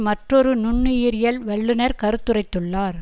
மற்றொரு நுண்ணுயிரியல் வல்லுநர் கருத்துரைத்துள்ளார்